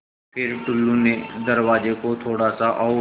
फ़िर टुल्लु ने दरवाज़े को थोड़ा सा और